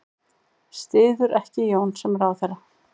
Styður ekki Jón sem ráðherra